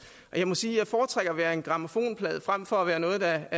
og jeg må sige at jeg foretrækker at være en grammofonplade frem for at være noget der